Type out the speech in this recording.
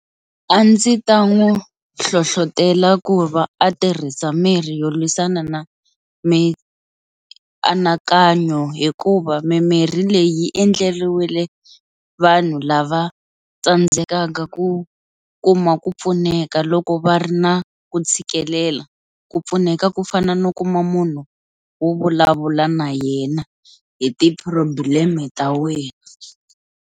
A ndzi ta n'wi hlohlotela ku va a tirhisa mirhi yo lwisana na mianakanyo hikuva mimirhi leyi endleriwile vanhu lava tsandzekaka ku kuma ku pfuneka loko va ri na ku tshikelela ku pfuneka ku fana no kuma munhu wo vulavula na yena hi ti-problem ta wena.